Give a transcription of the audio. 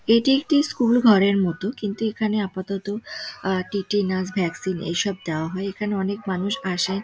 এটি একটি স্কুল ঘরের মতো কিন্তু এখানে আপাতত আ টিটেনাস ভ্যাকসিন দাওয়া হয় | এখানে অনেক মানুষ আসে ।